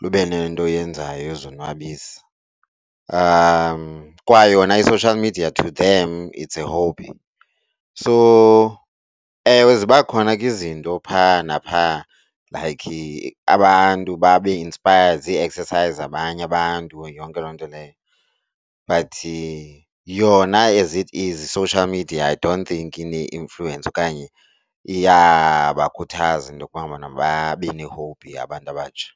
lube nento oyenzayo yozonwabisa. Kwayona i-social media to them it's a hobby. So ewe, ziba khona ke izinto phaa naphaa like abantu bae-inspired zi-excercise zabanye abantu yonke loo nto leyo, but yona as it is i-social media I don't think ine-influence okanye iyabakhuthaza into yokuba ngabana babe ne-hobby abantu abatsha.